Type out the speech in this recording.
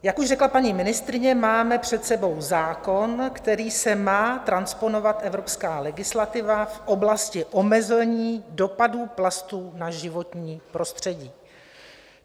Jak už řekla paní ministryně, máme před sebou zákon, kterým se má transponovat evropská legislativa v oblasti omezení dopadů plastů na životní prostředí.